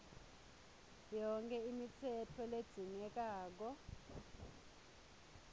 yonkhe imitsetfo ledzingekako